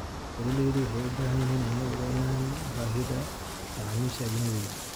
Beeralaydu waxay u baahan yihiin inay ogaadaan baahida macaamiisha ajnabiga ah.